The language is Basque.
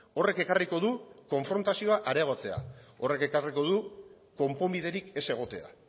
horrek ekarriko du konfrontazioa areagotzea horrek ekarriko du konponbiderik ez egotea